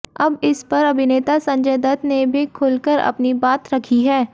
अब इस पर अभिनेता संजय दत्त ने भी खुलकर अपनी बात रखी है